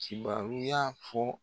Cibaruya fɔ